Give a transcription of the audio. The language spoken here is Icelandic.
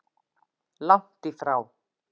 Langt í frá.